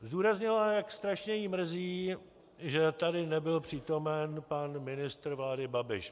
Zdůraznila, jak strašně ji mrzí, že tady nebyl přítomen pan ministr vlády Babiš.